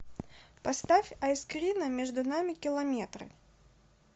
поставь айскрина между нами километры